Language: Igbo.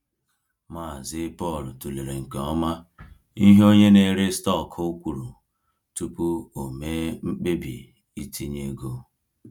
Mazị Paul tụlere nke ọma ihe onye na-ere stọkụ kwuru tupu o mee mkpebi itinye ego.